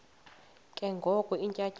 ke ngoko iintyatyambo